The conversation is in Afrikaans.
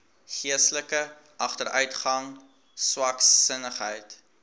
geestelike agteruitgang swaksinnigheid